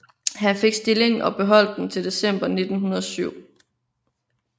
Han fik stillingen og beholdt den til december 1907